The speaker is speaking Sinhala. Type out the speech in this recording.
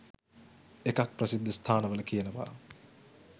එකක් ප්‍රසිද්ධ ස්ථානවල කියනව